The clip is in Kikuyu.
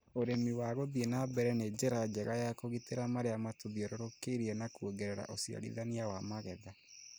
ũrĩmi wa gũthie na mbere nĩ njĩra njega ya kũgitĩra marĩa matũthiorũrũkĩirie na kuongerera ũciarithania wa magetha.